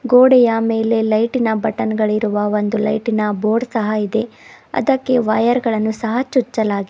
ಗೋಡೆಯ ಮೇಲೆ ಲೈಟಿ ನ ಬಟನ್ ಗಳಿರುವ ಇರುವ ಒಂದು ಲೈಟಿ ನ ಬೋರ್ಡ್ ಸಹ ಇದೆ ಅದಕ್ಕೆ ವೈರ್ ಗಳನ್ನು ಸಹ ಚುಚ್ಚಲಾಗಿ --